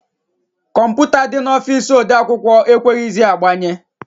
Kọmputa dị n'ọfici ode akwụkwọ e kweghịzị agbanye.